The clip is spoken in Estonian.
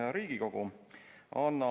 Hea Riigikogu!